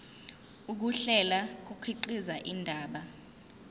ukuhlela kukhiqiza indaba